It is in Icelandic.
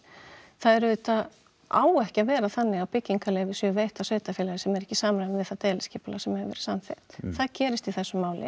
það auðvitað á ekki að vera þannig að byggingarleyfi séu veitt af sveitarfélagi sem eru ekki í samræmi við það deiliskipulag sem hefur verið samþykkt það gerist í þessu máli